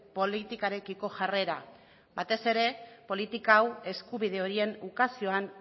politikarekiko jarrera batez ere politika hau eskubide horien ukazioan